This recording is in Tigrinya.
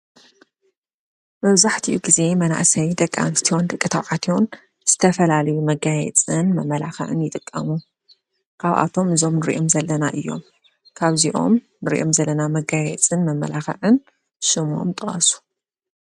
መብዛሕቲኡ ግዜ መንኣሰይ ደቂ ኣንስትዮን ደቂ ተባዕትዮን ዝተፈላለዩ መጋየፅን መመላኽዒን ይጥቀሙ። ካብኣቶም እዞም ንሪኦም ዘለና እዮም። ካብዚኦም ንሪኦም ዘለና መጋየፅን መመላኽዒን ሽሞም ጥቀሱ ?